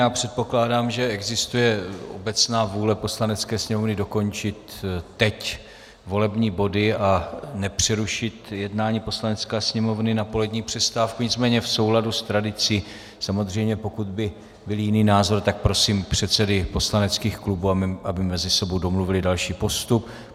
Já předpokládám, že existuje obecná vůle Poslanecké sněmovny dokončit teď volební body a nepřerušit jednání Poslanecké sněmovny na polední přestávku, nicméně v souladu s tradicí samozřejmě, pokud by byl jiný názor, tak prosím předsedy poslaneckých klubů, aby mezi sebou domluvili další postup.